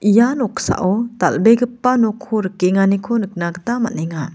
ia noksao dal·begipa nokko rikenganiko nikna gita man·enga.